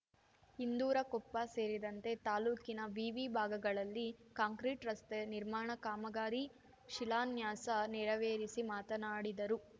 ಇಂದೂರಕೊಪ್ಪ ಸೇರಿದಂತೆ ತಾಲೂಕಿನ ವಿವಿ ಭಾಗಗಳಲ್ಲಿ ಕಾಂಕ್ರೀಟ್ ರಸ್ತೆ ನಿರ್ಮಾಣ ಕಾಮಗಾರಿ ಶಿಲಾನ್ಯಾಸ ನೆರವೇರಿಸಿ ಮಾತನಾಡಿದರು